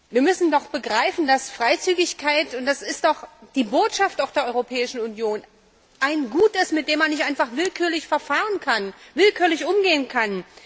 Wir müssen doch begreifen, dass Freizügigkeit und das ist doch die Botschaft der Europäischen Union ein Gut ist, mit dem man nicht einfach willkürlich verfahren kann, willkürlich umgehen kann!